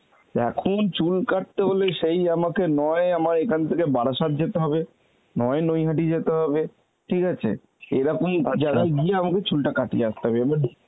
এখন চুল কাটতে হলে সেই আমাকে নয় আমায় এখান থেকে বারাসাত যেতে হবে, নয় নৈহাটি যেতে হবে ঠিক আছে এরকম জায়গায় গিয়ে আমায় চুলটা কাটিয়ে আসতে হবে এবার